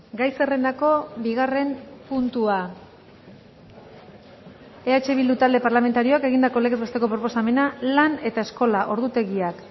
gai zerrendako bigarren puntua eh bildu talde parlamentarioak egindako legez besteko proposamena lan eta eskolaordutegiak